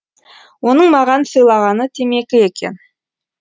оның маған сыйлағаны темекі екен